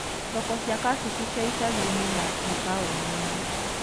Thoko cia kabici cia icagi-inĩ na mataũni-inĩ.